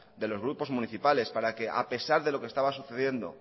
de los grupos municipales para que a pesar de lo que estaba sucediendo